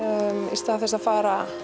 í stað þess að fara